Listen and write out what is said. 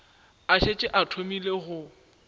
a šetše a thomile go